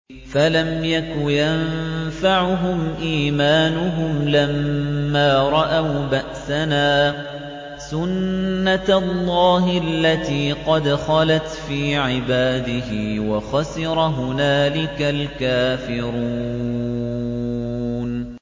فَلَمْ يَكُ يَنفَعُهُمْ إِيمَانُهُمْ لَمَّا رَأَوْا بَأْسَنَا ۖ سُنَّتَ اللَّهِ الَّتِي قَدْ خَلَتْ فِي عِبَادِهِ ۖ وَخَسِرَ هُنَالِكَ الْكَافِرُونَ